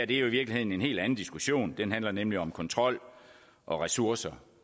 jo i virkeligheden en helt anden diskussion den handler nemlig om kontrol og ressourcer